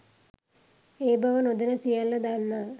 ඒ බව නොදෑන සියල දන්නා